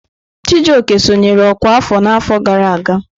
Chijioke sonyere ọkwá afọ n'afọ gara aga.